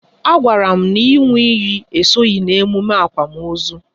A gwara m n'inwu iyi esoghị n'emume akwamozu